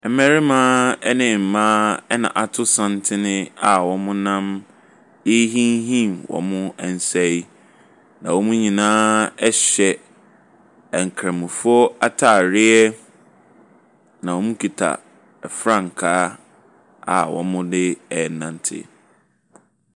Mmarima ne mmaa na ato santene a wɔnam rehinhim wɔn nsa yi, na wɔn nyinaa hyɛ nkramofoɔ atareɛ, na wɔkuta frankaa a wɔde renante.